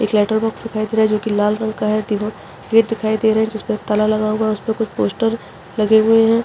एक लेटरबॉक्स दिखाई दे रहा है जो की लाल रंग का है तीनो गेट दिखाई दे रहे हैं जिसमे ताला लगा हुआ है उसपे कुछ पोस्टर लगे हुए है।